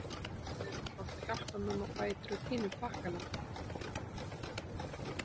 Nonni hefði náttúrlega átt að hjálpa mömmu á fætur og tína upp pakkana.